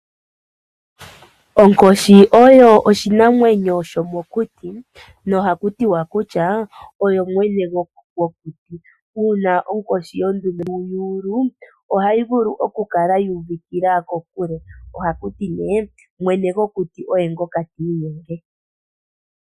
Onkoshi oyo oshinamwenyo shimokuti no haku tiwa kutya oyo mwene gwokuti, uuna onkoshi yondume yuulu ohayi vulu oku Kala yuuvikila kokule ohaku ti mwene gwokuti oye ngooka ti inyenge.